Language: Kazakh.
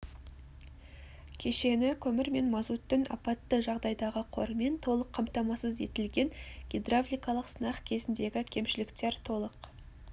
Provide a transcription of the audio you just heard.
кешені көмір мен мазуттың апатты жағдайдағы қорымен толық қамтамасыз етілген гидравликалық сынақ кезіндегі кемшіліктер толық